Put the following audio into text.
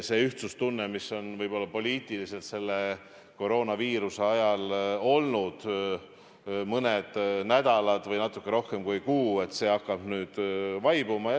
See ühtsustunne, mis võib-olla poliitiliselt selle koroonaviiruse ajal mõne nädala või natuke rohkem kui kuu on olnud, hakkab nüüd vaibuma.